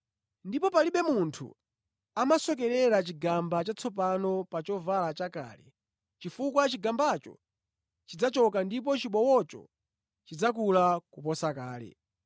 Ndipo palibe munthu amasokerera chigamba chatsopano pa chovala chakale chifukwa chigambacho chidzachoka ndipo chibowocho chidzakula kuposa kale.